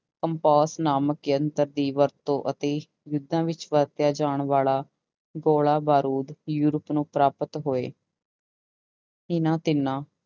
compass ਨਾਮਕ ਯੰਤਰ ਦੀ ਵਰਤੋਂ ਅਤੇ ਯੁੱਧਾ ਵਿੱਚ ਵਰਤਿਆ ਜਾਣ ਵਾਲਾ ਗੋਲਾ ਬਾਰੂਦ ਯੂਰਪ ਨੂੰ ਪ੍ਰਾਪਤ ਹੋਏ ਇਹਨਾਂ ਤਿੰਨਾਂ